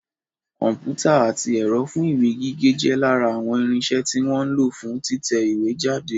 Kọ̀mpútà àti ẹ̀rọ fún ìwé gígé jẹ́ lára àwọn irinsẹ́ tí wọ́n ń lo fún títẹ ìwé jáde